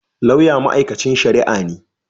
Lauya mai'aikancin sharia ne.